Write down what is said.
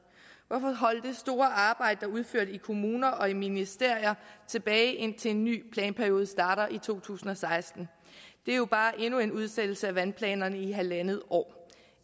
hvorfor holde det store arbejde der er udført i kommuner og i ministerier tilbage indtil en ny planperiode starter i 2016 det er jo bare endnu en udsættelse af vandplanerne i halvandet år